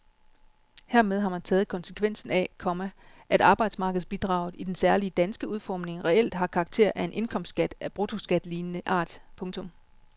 Hermed har man taget konsekvensen af, komma at arbejdsmarkedsbidraget i den særlige danske udformning reelt har karakter af en indkomstskat af bruttoskatlignende art. punktum